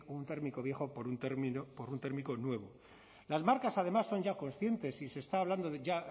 un térmico viejo por un térmico nuevo las marcas además son ya conscientes y se está hablando ya